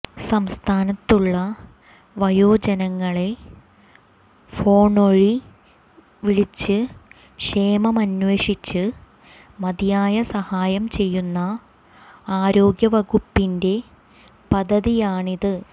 സംസ്ഥാനത്തുള്ള വയോജനങ്ങളെ ഫോണ്വഴി വിളിച്ച് ക്ഷേമമന്വേഷിച്ച് മതിയായ സഹായം ചെയ്യുന്ന ആരോഗ്യ വകുപ്പിന്റെ പദ്ധതിയാണിത്